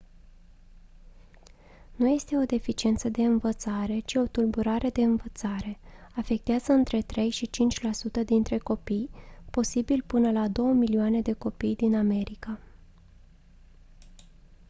nu este o deficiență de învățare ci o tulburare de învățare; «afectează între 3 și 5 la sută dintre copii posibil până la 2 milioane de copii din america»